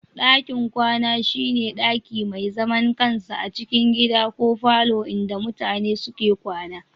Dakin Kwana shi ne daki mai zaman kansa a cikin gida ko falo inda mutane suke kwana.